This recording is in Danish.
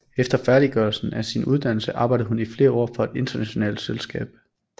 Efter færdiggørelsen af sin uddannelse arbejdede hun i flere år for et internationalt selskab